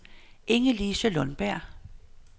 Inge-Lise Lundberg